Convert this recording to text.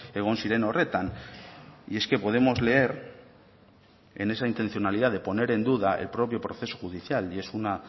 egon ziren horretan y es que podemos leer en esa intencionalidad de poner en duda el propio proceso judicial y es uno